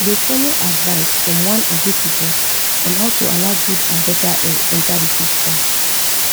they follow advice from one agric report on how to allow good and better air enter d fish pond